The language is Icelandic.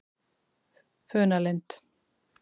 Funalind